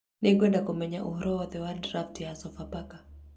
Nĩngwenda kũmenya ũhoro wothe wa draft ya Sopapaka